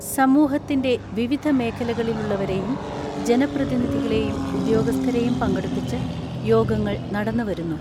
സമൂഹ ത്തിന്റെ വിവിധ മേഖലകളിലുള്ളവരെയും ജനപ്രതിനിധിക ളെയും ഉദ്യോഗസ്ഥരെയും പങ്കെടുപ്പിച്ച് യോഗങ്ങൾ നടന്നു വരുന്നു.